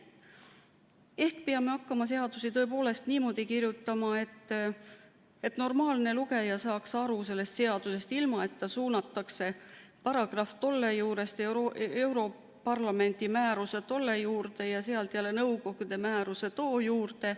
Ehk peame hakkama seadusi tõepoolest niimoodi kirjutama, et normaalne lugeja saaks aru sellest seadusest, ilma et teda suunataks paragrahv tolle juurest europarlamendi määruse tolle juurde ja sealt jälle nõukogu määruse tolle juurde.